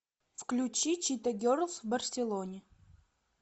включи чита герлс в барселоне